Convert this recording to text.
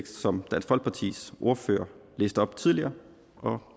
som dansk folkepartis ordfører læste op tidligere og